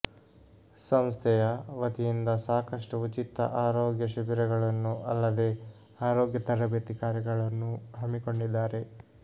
ಸಂಸ್ಥೆಯ ವತಿಯಿಂದ ಸಾಕಷ್ಟು ಉಚಿತ ಆರೋಗ್ಯ ಶಿಬಿರಗಳನ್ನು ಅಲ್ಲದೇ ಆರೋಗ್ಯ ತರಬೇತಿ ಕಾರ್ಯಕ್ರಮಗಳನ್ನು ಹಮ್ಮಿಕೊಂಡಿದ್ದಾರೆ